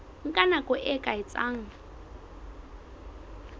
nka nako e ka etsang